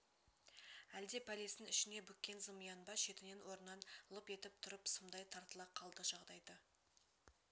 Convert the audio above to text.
әлде пәлесін ішіне бүккен зымиян ба шетінен орнынан лып етіп тұрып сымдай тартыла қалды жағдайды